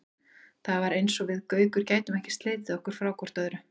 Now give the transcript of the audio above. Það var eins og við Gaukur gætum ekki slitið okkur frá hvort öðru.